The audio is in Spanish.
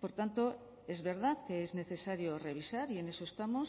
por tanto es verdad que es necesario revisar y en eso estamos